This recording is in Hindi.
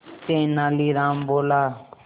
तेनालीराम बोला